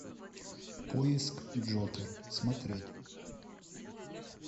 поиск джокер смотреть